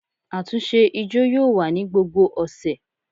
Àtúnṣe ijó yóò wa ni gbógbó ọsẹ